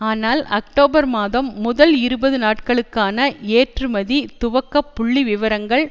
ஆனால் அக்டோபர் மாதம் முதல் இருபது நாட்களுக்கான ஏற்றுமதி துவக்க புள்ளிவிவரங்கள்